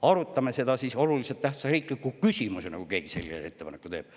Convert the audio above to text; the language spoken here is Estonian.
Arutame seda siis oluliselt tähtsa riikliku küsimusena, kui keegi sellise ettepaneku teeb.